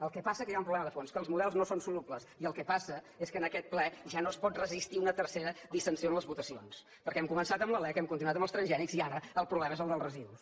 el que passa que hi ha un problema de fons que els models no són solubles i el que passa és que en aquest ple ja no es pot resistir una tercera dissensió en les votacions perquè hem començat amb la lec hem continuat amb els transgènics i ara el problema és el dels residus